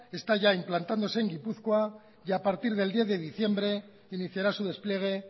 está ya implantándose en gipuzkoa y a partir del diez de diciembre iniciará su despliegue